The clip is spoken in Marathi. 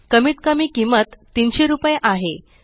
कमीत कमी किंमत 300 रुपये आहे